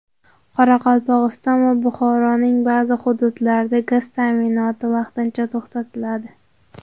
Qoraqalpog‘iston va Buxoroning ba’zi hududlarida gaz ta’minoti vaqtincha to‘xtatiladi.